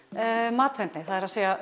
matvendni það er að